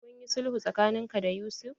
Kunyi sulhu tsakanin ka da Yusuf?